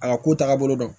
A ka ko taabolo dɔn